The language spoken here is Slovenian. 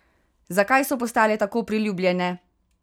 Zakaj so postale tako priljubljene?